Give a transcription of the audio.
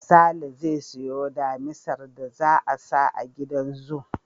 Sale zai siyo Damisar da za a sa a gidan zoo